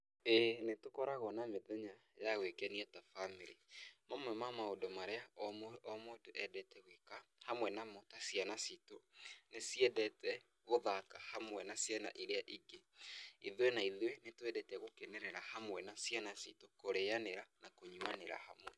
Ĩ nĩ tũkoragwo na mĩthenya ya gwĩkenia ta bamĩrĩ, mamwe ma maũndũ marĩa o mũ o mũndũ endete gwĩka hamwe na namo ta ciana citũ nĩciendete gũthaka hamwe na ciana irĩa ingĩ. Ithuĩ na ithuĩ nĩ twendete gũkenerera hamwe na ciana citũ kũrĩnyanĩra na kũnyuanĩra hamwe.